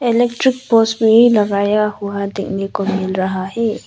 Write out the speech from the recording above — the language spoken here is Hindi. इलेक्ट्रिक पोल्स भी लगाया हुआ देखने को मिल रहा है।